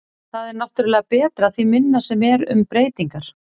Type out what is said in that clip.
Það er náttúrulega betra því minna sem eru um breytingar.